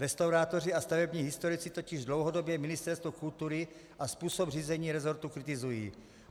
Restaurátoři a stavební historici totiž dlouhodobě ministerstvo kultury a způsob řízení resortu kritizují.